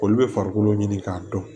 Olu bɛ farikolo ɲini k'a dɔn